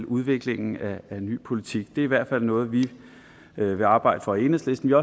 udviklingen af ny politik det er i hvert fald noget vi vil arbejde for i enhedslisten